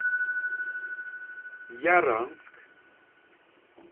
яранск